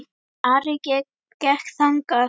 Ari gekk þangað.